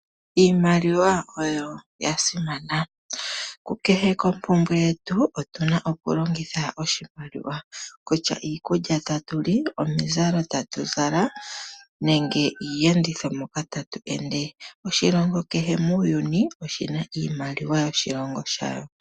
Iimaliwa oya simana kukehe kompumbwe yetu otuna okulongitha oshimaliwa , kutya iikulya tatu li ,omizalo tatu zala nenge iiyenditho moka tatu ende. Oshilongo kehe muuyuni oshina iimaliwa yoshilongo shayo.